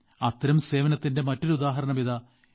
അത്തരം സേവനത്തിന്റെ മറ്റൊരു ഉദാഹരണം ഇതാ യു